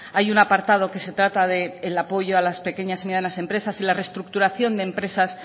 hay un apartado que se trata del apoyo a las pequeñas y medianas empresas y la reestructuración de empresas